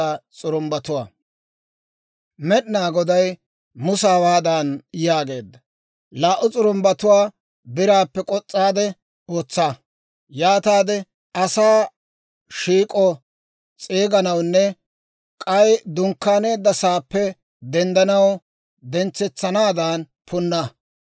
«Laa"u s'urumbbatuwaa biraappe k'os's'aade ootsa; yaataade asaa shiik'oo s'eeganawunne k'ay dunkkaaneedda saappe denddanaw dentsetsanaadan punna.